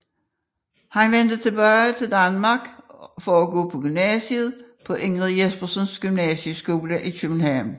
Han vendte tilbage til Danmark for at gå på gymnasiet på Ingrid Jespersens Gymnasieskole i København